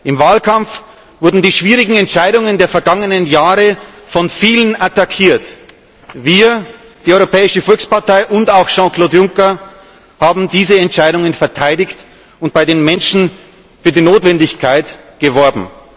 Im Wahlkampf wurden die schwierigen Entscheidungen der vergangenen Jahre von vielen attackiert. Wir die Europäische Volkspartei und auch Jean Claude Juncker haben diese Entscheidungen verteidigt und bei den Menschen für ihre Notwendigkeit geworben.